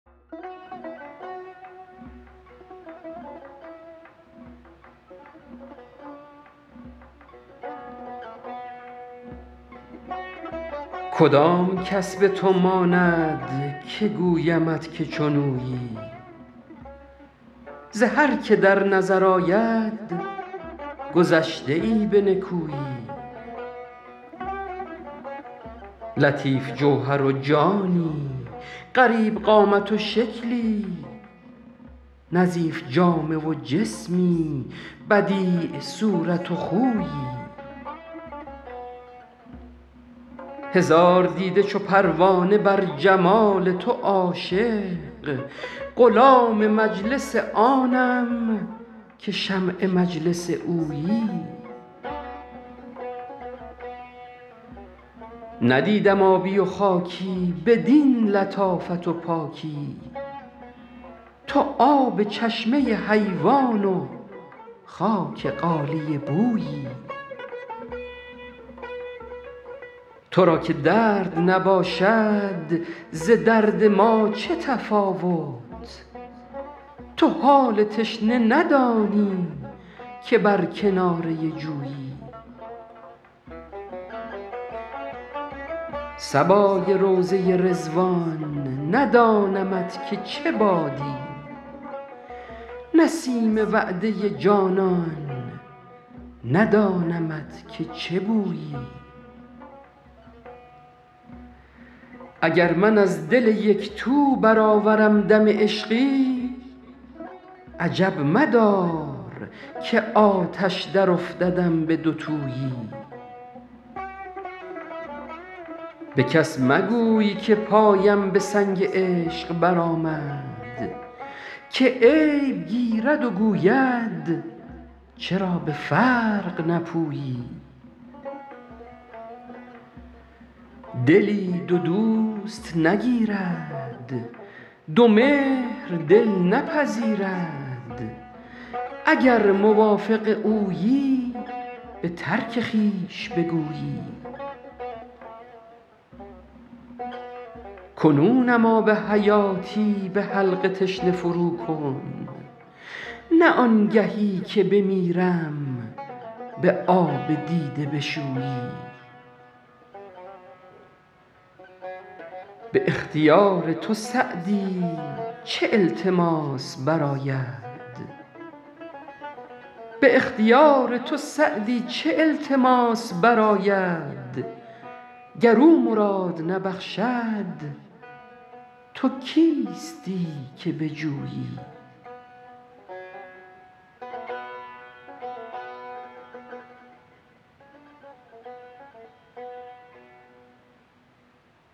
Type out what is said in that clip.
کدام کس به تو ماند که گویمت که چون اویی ز هر که در نظر آید گذشته ای به نکویی لطیف جوهر و جانی غریب قامت و شکلی نظیف جامه و جسمی بدیع صورت و خویی هزار دیده چو پروانه بر جمال تو عاشق غلام مجلس آنم که شمع مجلس اویی ندیدم آبی و خاکی بدین لطافت و پاکی تو آب چشمه حیوان و خاک غالیه بویی تو را که درد نباشد ز درد ما چه تفاوت تو حال تشنه ندانی که بر کناره جویی صبای روضه رضوان ندانمت که چه بادی نسیم وعده جانان ندانمت که چه بویی اگر من از دل یک تو برآورم دم عشقی عجب مدار که آتش درافتدم به دوتویی به کس مگوی که پایم به سنگ عشق برآمد که عیب گیرد و گوید چرا به فرق نپویی دلی دو دوست نگیرد دو مهر دل نپذیرد اگر موافق اویی به ترک خویش بگویی کنونم آب حیاتی به حلق تشنه فروکن نه آنگهی که بمیرم به آب دیده بشویی به اختیار تو سعدی چه التماس برآید گر او مراد نبخشد تو کیستی که بجویی